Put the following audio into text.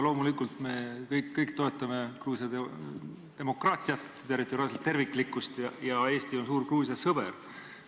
Loomulikult me kõik toetame Gruusia demokraatiat ja territoriaalset terviklikkust ja Eesti on suur Gruusia sõber.